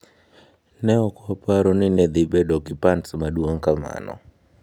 “Ne ok waparo ni ne dhi bedo gi pants maduong’ kamano.”